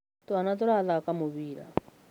Twana tũrathaka na mũbira